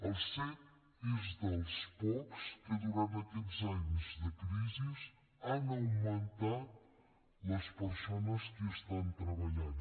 el cet és dels pocs en què durant aquests anys de crisi han augmentat les persones que hi estan treballant